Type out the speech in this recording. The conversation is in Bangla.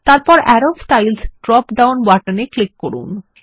তারপরে আরো স্টাইলস ড্রপ ডাউন বাটনে ক্লিক করুন